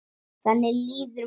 Þannig líður mér núna.